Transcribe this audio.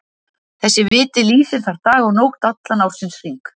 Þessi viti lýsir þar dag og nótt allan ársins hring.